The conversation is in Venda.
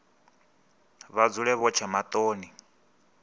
vha dzule vho tsha maṱoni